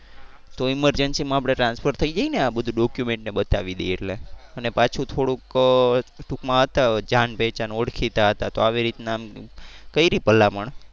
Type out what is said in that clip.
તો emergency માં આપણે transfer થઈ જાય ને આ બધુ document ને એ બતાવી દઈએ એટલે અને પાછું થોડુંક ટુંકમાં હતા જાણ પહેચાન ઓડખીતા હતા તો આવી રીતના કરી ભલામણ.